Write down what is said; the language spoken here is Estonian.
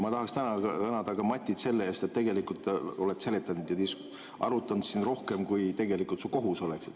Ma tahaksin tänada ka Matit selle eest, et tegelikult oled sa seletanud ja arutanud siin rohkem, kui su kohus oleks.